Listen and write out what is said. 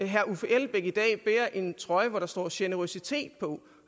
herre uffe elbæk i dag bærer en trøje som der står generøsitet på